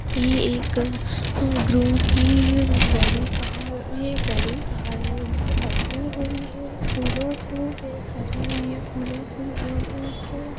सफेद गाड़ी है जिस पर गुलाबी लाल सफेद फूल लगाय होते हैं सुंदर लगी हुई है ।